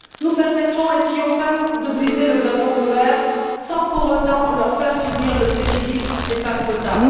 Nous permettrons ainsi aux femmes de briser le plafond de verre sans pour autant leur faire subir le préjudice des femmes quotas.